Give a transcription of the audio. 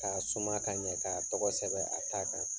K'a suma k'a ɲɛ, k'a tɔgɔ sɛbɛn a ta kan.